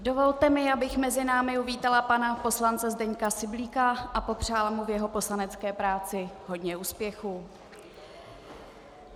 Dovolte mi, abych mezi námi uvítala pana poslance Zdeňka Syblíka a popřála mu v jeho poslanecké práci hodně úspěchů.